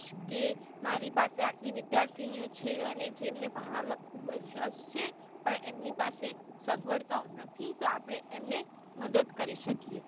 કે મારી પાસે આટલી વિદ્યાર્થીની ઓ છે અને જેમને ભણવા માં ખુબજ રસ છે પણ એમની પાસે સગવડતાઓ નથી તો આપડે એમને મદદ કરી શકીયે.